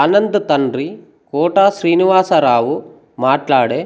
ఆనంద్ తండ్రి కోట శ్రీనివాసరావు మాట్లాడే